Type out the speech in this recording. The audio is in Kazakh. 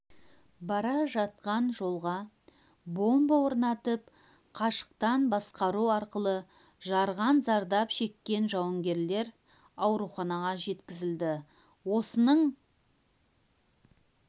бара жатқан жолға бомба орнатып қашықтан басқару арқылы жарған зардап шеккен жауынгерлер ауруханаға жеткізілді осының